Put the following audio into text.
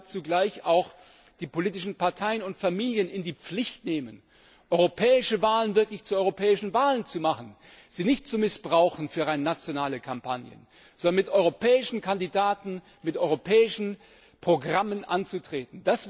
Wir müssen damit zugleich auch die politischen Parteien und Familien in die Pflicht nehmen, europäische Wahlen wirklich zu europäischen Wahlen zu machen, sie nicht für rein nationale Kampagnen zu missbrauchen, sondern mit europäischen Kandidaten, mit europäischen Programmen anzutreten.